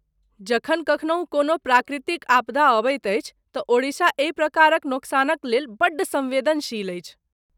जखन कखनहु कोनो प्राकृतिक आपदा अबैत अछि तँ ओडिशा एहि प्रकारक नोकसानक लेल बड्ड संवेदनशील अछि।